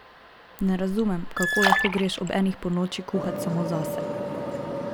Ne razumem, kako lahko greš ob enih ponoči kuhat samo zase?